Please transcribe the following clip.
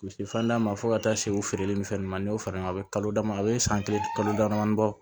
U bɛ se fɛndaman ma fo ka taa se u feereli ni fɛn ninnu ma n y'o fara ɲɔgɔn kan a bɛ kalo dama a bɛ san kile dama damani bɔ